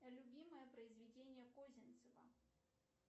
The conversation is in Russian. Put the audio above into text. любимое произведение козинцева